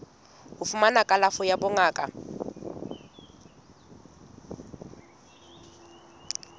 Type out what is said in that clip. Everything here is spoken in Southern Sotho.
ho fumana kalafo ya bongaka